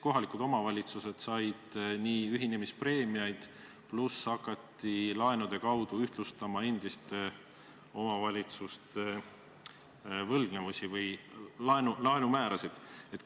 Kohalikud omavalitsused said ühinemispreemiaid, pluss hakati laenude kaudu ühtlustama endiste omavalitsuste võlgnevusi või laenumäärasid.